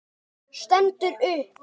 Stendur upp.